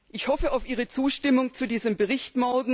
Ich hoffe morgen auf Ihre Zustimmung zu diesem Bericht.